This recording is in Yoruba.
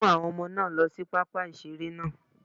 Mú àwọn Ọmọ náà lọ sí pápá ìṣeré náà